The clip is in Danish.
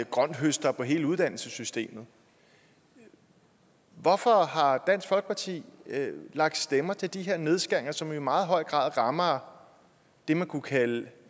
grønthøster på hele uddannelsessystemet hvorfor har dansk folkeparti lagt stemmer til de her nedskæringer som i meget høj grad rammer dem man kunne kalde